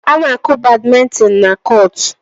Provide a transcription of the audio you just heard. A na-akụ badmintin na kọọtụ.